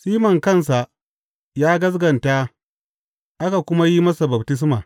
Siman kansa ya gaskata aka kuma yi masa baftisma.